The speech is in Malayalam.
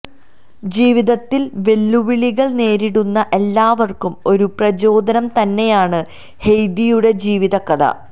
ജീവിതത്തില് വെല്ലു വിളികള് നേരിടുന്ന എല്ലാവര്ക്കും ഒരു പ്രചോദനം തന്നെയാണ് ഹെയ്ദിയുടെ ജീവിത കഥ